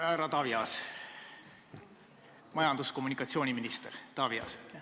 Härra Taavi Aasale, majandus- ja kommunikatsiooniministrile.